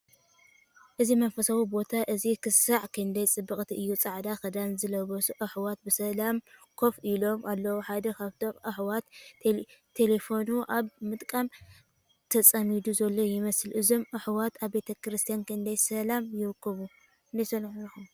እዚ መንፈሳዊ ቦታ እዚ ኽሳዕ ክንደይ ጽብቕቲ እዩ! ጻዕዳ ክዳን ዝለበሱ ኣሕዋት ብሰላም ኮፍ ኢሎም ኣለዉ። ሓደ ካብቶም ኣሕዋት ቴለፎኑ ኣብ ምጥቃም ተጸሚዱ ዘሎ ይመስል። እዞም ኣሕዋት ኣብ ቤተ ክርስቲያን ክንደይ ሰላም ይረኽቡ?